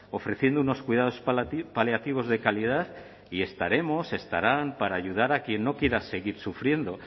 ofreciendo unos cuidados paliativos de calidad y estaremos estarán para ayudar a quien no quiera seguir sufriendo